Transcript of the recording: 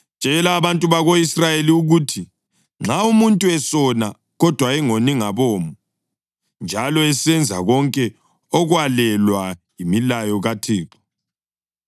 “Tshela abantu bako-Israyeli ukuthi: ‘Nxa umuntu esona kodwa engoni ngabomo, njalo esenza konke okwalelwa yimilayo kaThixo,